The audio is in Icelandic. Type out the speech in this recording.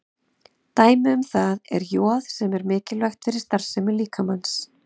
Dæmi um það er joð sem er mikilvægt fyrir starfsemi líkamans.